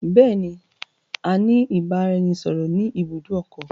Bẹ̀ẹ̀ẹ̀ni, a ní ìbáraẹnisọọ̀rọ̀ ni ibùdó ọkọ̀.